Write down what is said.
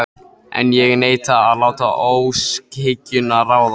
En ég neita að láta óskhyggjuna ráða.